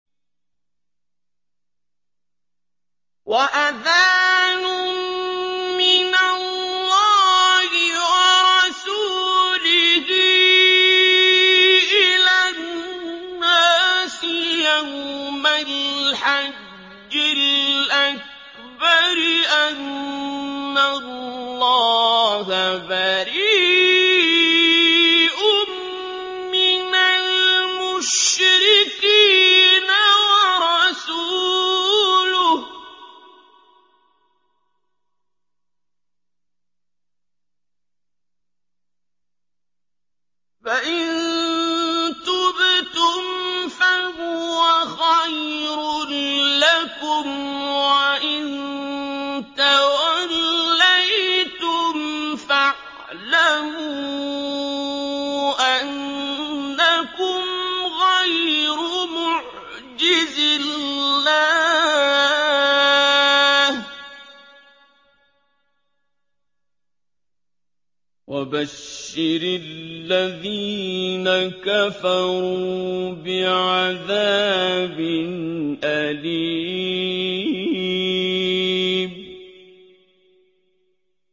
وَأَذَانٌ مِّنَ اللَّهِ وَرَسُولِهِ إِلَى النَّاسِ يَوْمَ الْحَجِّ الْأَكْبَرِ أَنَّ اللَّهَ بَرِيءٌ مِّنَ الْمُشْرِكِينَ ۙ وَرَسُولُهُ ۚ فَإِن تُبْتُمْ فَهُوَ خَيْرٌ لَّكُمْ ۖ وَإِن تَوَلَّيْتُمْ فَاعْلَمُوا أَنَّكُمْ غَيْرُ مُعْجِزِي اللَّهِ ۗ وَبَشِّرِ الَّذِينَ كَفَرُوا بِعَذَابٍ أَلِيمٍ